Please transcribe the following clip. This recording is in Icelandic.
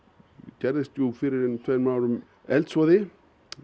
gerðist fyrir einum tveimur árum eldsvoði